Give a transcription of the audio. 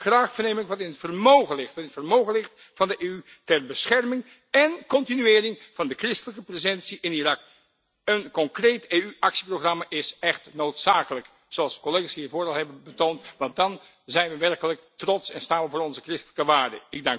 Graag verneem ik wat in het vermogen ligt van de EU ter bescherming en continuering van de christelijke presentie in Irak. Een concreet EU actieprogramma is echt noodzakelijk, zoals de collega's hiervoor al hebben betoond, want dan zijn we werkelijk trots en staan we voor onze christelijke waarden.